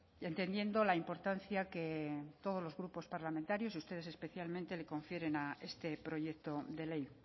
entendiendo la importancia que todos los grupos parlamentarios ustedes especialmente les confieren a este proyecto de ley